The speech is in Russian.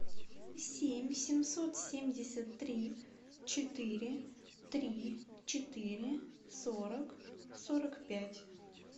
семь семьсот семьдесят три четыре три четыре сорок сорок пять